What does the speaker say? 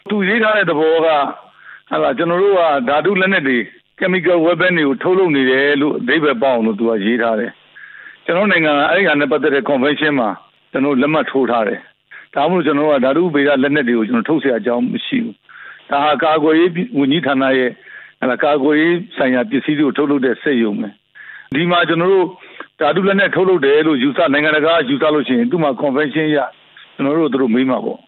သူရေးထားတဲ့သဘောက ကျနော်တို့က ဓါတုလက်နက်တွေ chemical weapon တွေကို ထုတ်လုပ်နေတယ်လို့ အဓိပ္ပာယ်ပေါက်အောင်လို့ သူကရေးထားတယ်၊ ကျနော်တို့နိုင်ငံက အဲဒါနဲ့ပတ်သက်လို့ ကွန်ဗန်းရှင်းမှာ ကျနော်တို့ လက်မှတ်ရေးထိုးထားတယ်၊ ဒါကြောင့်မို့ ကျနော်တို့က ဓါတုဗေဒလက်နက်တွေကို ထုတ်စရာအကြောင်းမရှိဘူး၊ ဒါဟာ ကာကွယ်ရေးဝန်ကြီးဌာနရဲ့ ကာကွယ်ရေးဆိုင်ရာ ပစ္စည်းတွေကို ထုတ်လုပ်တဲ့စက်ရုံ၊ ဒီမှာကျနော်တို့ ဓာတုလက်နက် ထုတ်လုပ်တယ်လို့ နိုင်ငံတကာကယူဆလို့ရှိရင် သူ့မှာကွန်ဗန်းရှင်းအရ ကျနော်တို့ကို သူတို့မေးမှာပေါ့